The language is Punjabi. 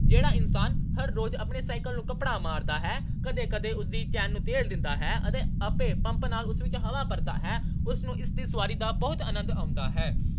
ਜਿਹੜਾ ਇਨਸਾਨ ਆਪਣੇ cycle ਨੂੰ ਹਰ ਰੋਜ਼ ਕੱਪੜਾ ਮਾਰਦਾ ਹੈ, ਕਦੇ-ਕਦੇ ਉਸਦੀ cycle ਨੂੰ ਤੇਲ ਦਿੰਦਾ ਹੈ ਤੇ ਆਪੇ ਪੰਪ ਨਾਲ ਉਸਦੀ ਹਵਾ ਭਰਦਾ ਹੈ। ਉਸ ਨੂੰ ਇਸ ਦੀ ਸਵਾਰੀ ਦਾ ਬਹੁਤ ਆਨੰਦ ਆਉਂਦਾ ਹੈ।